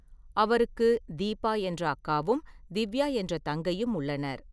அவருக்கு தீபா என்ற அக்காவும், திவ்யா என்ற தங்கையும் உள்ளனர்.